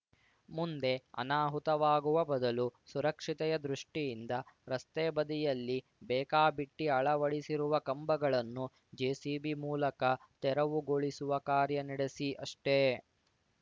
ಮುಂದೆ ಅನಾಹುತವಾಗುವ ಬದಲು ಸುರಕ್ಷತೆಯ ದೃಷ್ಟಿಯಿಂದ ರಸ್ತೆ ಬದಿಯಲ್ಲಿ ಬೇಕಾಬಿಟ್ಟಿಅಳವಡಿಸಿರುವ ಕಂಬಗಳನ್ನು ಜೆಸಿಬಿ ಮೂಲಕ ತೆರವುಗೊಳಿಸುವ ಕಾರ್ಯ ನಡೆಸಿ ಅಷ್ಟೇ